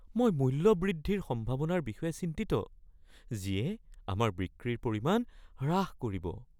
মই মূল্য বৃদ্ধিৰ সম্ভাৱনাৰ বিষয়ে চিন্তিত যিয়ে আমাৰ বিক্ৰীৰ পৰিমাণ হ্ৰাস কৰিব।